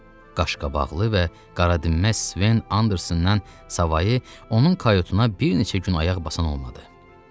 Qaşqabaqlı və qaradinməz Sven Andersondan savayı onun kayutuna bir neçə gün ayaq basan olmadı.